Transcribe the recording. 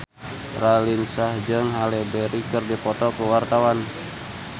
Raline Shah jeung Halle Berry keur dipoto ku wartawan